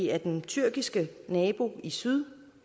er den tyrkiske nabo i syd